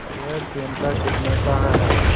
यह चिमटा कितने का है